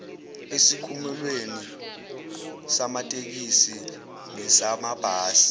esikhumulweni samatekisi nesamabhasi